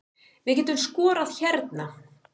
Við getum skorað hérna